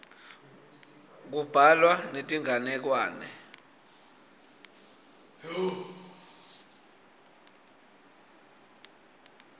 kubhalwa netinganekwane